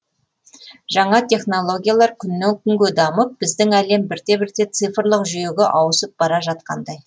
жаңа технологиялар күннен күнге дамып біздің әлем бірте бірте цифрлық жүйеге ауысып бара жатқандай